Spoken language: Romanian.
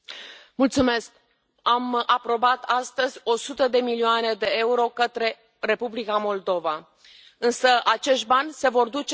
Am aprobat astăzi 100 de milioane de euro către Republica Moldova, însă acești bani se vor duce condiționat.